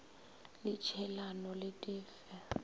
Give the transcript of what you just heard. la tšhielano le di fe